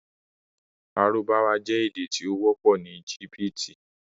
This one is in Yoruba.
Lárúbáwá jẹ̀ èdè tí o wọ̀pọ̀ ni Ẹ́gíptì